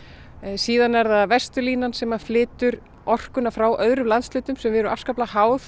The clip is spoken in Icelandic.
síðan er það Vesturlínan sem flytur orkuna frá öðrum landshlutum sem við erum afskaplega háð